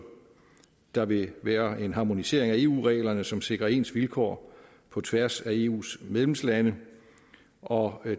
der vil være en harmonisering af eu reglerne som sikrer ens vilkår på tværs af eus medlemslande og